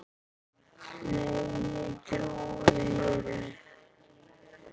Nei, ég trúi þér ekki.